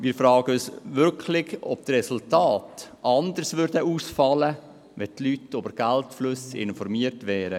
Wir fragen uns wirklich, ob die Resultate anders ausfielen, wenn die Leute über die Geldflüsse informiert wären.